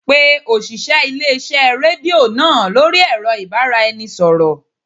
Pa òṣìṣẹ́ ilé-iṣẹ́ rédíò náà lórí ẹ̀rọ ìbáraẹnisọ̀rọ̀